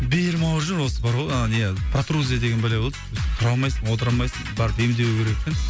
белім ауырып жүр осы бар ғой ана не протрузия деген бәле болды тұра алмайсың отыра алмайсың барып емделу керек екен